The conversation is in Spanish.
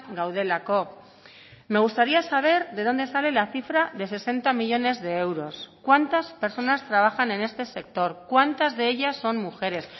gaudelako me gustaría saber de dónde sale la cifra de sesenta millónes de euros cuántas personas trabajan en este sector cuántas de ellas son mujeres